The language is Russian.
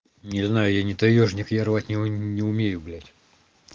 не знаю я не таёжник я рвать не умею блять